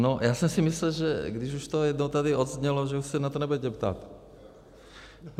No já jsem si myslel, že když už to jednou tady odznělo, že už se na to nebudete ptát.